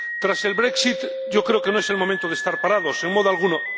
Tras el brexit yo creo que no es el momento de estar parados, en modo alguno.